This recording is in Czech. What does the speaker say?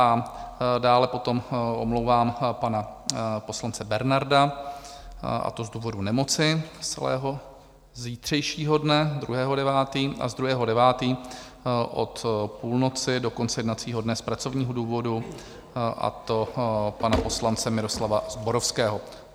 A dále potom omlouvám pana poslance Bernarda, a to z důvodu nemoci z celého zítřejšího dne 2. 9., a z 2. 9. od půlnoci do konce jednacího dne z pracovního důvodu, a to pana poslance Miroslava Zborovského.